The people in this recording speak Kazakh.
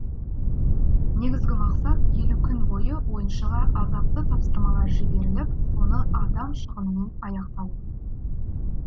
негізгі мақсат елу күн бойы ойыншыға азапты тапсырмалар жіберіліп соңы адам шығынымен аяқталу